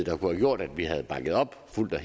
er